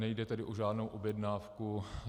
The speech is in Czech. Nejde tedy o žádnou objednávku.